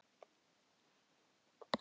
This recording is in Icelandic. Ég fylgdi þeim eftir með augunum.